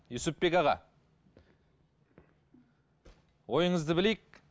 юсупбек аға ойыңызды білейік